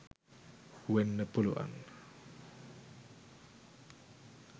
වෙන්න පුළුවන්